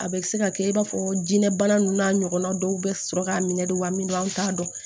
A bɛ se ka kɛ i n'a fɔ jinɛ bana ninnu n'a ɲɔgɔnna dɔw bɛ sɔrɔ ka minɛ don wa min don an t'a dɔn